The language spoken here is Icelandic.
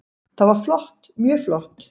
Það var flott, mjög flott.